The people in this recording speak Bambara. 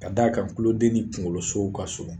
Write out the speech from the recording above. Ka d'a kan tuloden ni kunkolosow ka surun